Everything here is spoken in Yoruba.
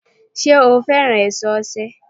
Sé o fẹ́ràn èso osè